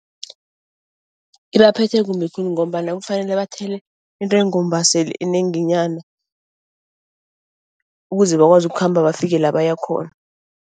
Ibaphethe kumbi khulu ngombana kufanele bathele intengombaseli enenginyana ukuze bakwazi ukukhamba bafike la bayakhona.